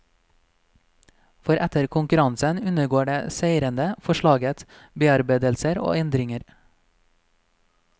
For etter konkurransen undergår det seirende forslaget bearbeidelser og endringer.